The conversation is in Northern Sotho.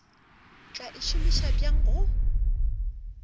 tla e šomiša bjang go